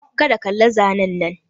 Kar ka kalla zanen nan!